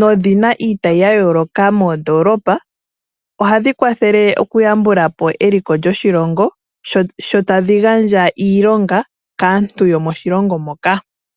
nodhina iitayi ya yooloka moodoolopa, ohadhi kwathele okuyambula po eliko lyoshilongo sho tadhi gandja iilonga kaantu yomoshilongo moka.